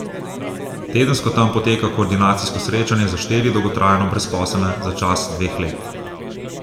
Tedensko tam poteka koordinacijsko srečanje za štiri dolgotrajno brezposelne za čas dveh let.